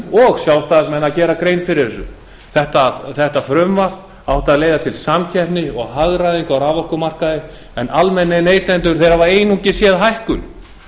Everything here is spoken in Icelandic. og sjálfstæðismenn að gera grein fyrir þessu þetta frumvarp átti að leiða til samkeppni og hagræðingar á raforkumarkaði en almennir neytendur hafa einungis séð hækkun